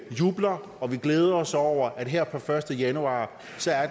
jubler og vi glæder os over at her per første januar